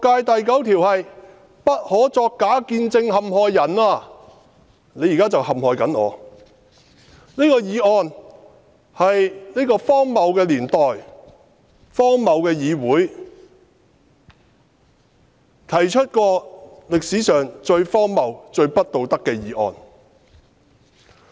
第九條是不可作假見證陷害人，而他現在正陷害我，這項議案是這個荒謬的年代、荒謬的議會，提出歷史上最荒謬、最不道德的議案。